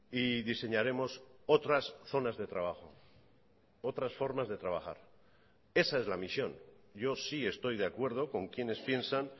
y diseñaremos otras zonas de trabajo otras formas de trabajar esa es la misión yo sí estoy de acuerdo con quienes piensan